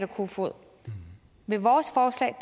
kofod med vores forslag